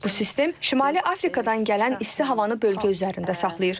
Bu sistem şimali Afrikadan gələn isti havanı bölgə üzərində saxlayır.